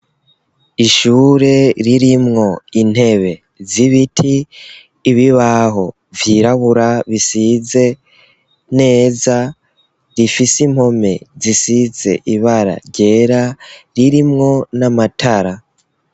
Ishure ririmwo intebe z'ibiti, ibibaho vyirabura bisize neza, rifise impome zisize ibara ryera, ririmwo n'amatara.